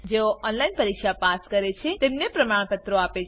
જેઓ ઓનલાઈન પરીક્ષા પાસ કરે છે તેઓને પ્રમાણપત્રો આપે છે